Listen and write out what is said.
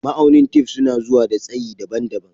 Ma'aunin tef suna zuwa da tsayi daban-daban.